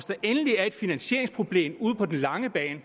der endelig er et finansieringsproblem ude på den lange bane